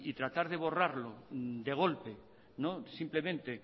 tratar de borrarlo de golpe simplemente